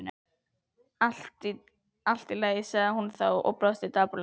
Allt í lagi sagði hún þá og brosti dapurlega.